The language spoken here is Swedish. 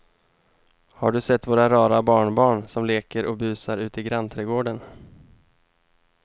Har du sett våra rara barnbarn som leker och busar ute i grannträdgården!